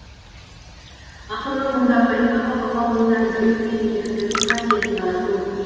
ақынның мұндағы айтпағы бала бойына ізгілік пен мейірімділік қасиетін дарыту